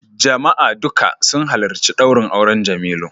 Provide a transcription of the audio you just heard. Jama'a duka sun halarci daurin auren Jemilu